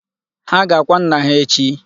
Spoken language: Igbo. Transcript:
Ha ga-akwa nnà ha echi.